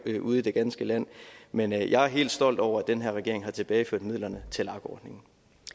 ude i det ganske land men jeg er helt stolt over at den her regering har tilbageført midlerne til lag ordningen